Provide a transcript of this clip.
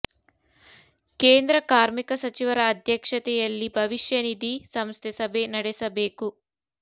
ಕೇಂದ್ರ ಕಾರ್ಮಿಕ ಸಚಿವರ ಅಧ್ಯಕ್ಷತೆಯಲ್ಲಿ ಭವಿಷ್ಯ ನಿಧಿ ಸಂಸ್ಥೆ ಸಭೆ ನಡೆಸಬೇಕು